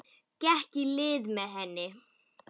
Gekk í lið með henni.